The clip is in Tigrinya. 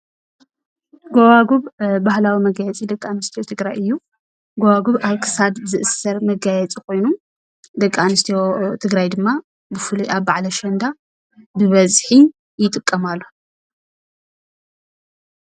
ጎባጉብ ባህላዊ መጋየፂ ደቂ ኣንስትዮ ትግራይ እዩ። ጎባጉብ ኣብ ክሳድ ዝእሰር ነገር መጋየፂ ኮይኑ ደቂ ኣንስትዮ ትግራይ ድማ ብፍሉይ ኣብ በዓል ኣሸንዳ ብበዝሒ ይጥቀማሉ ።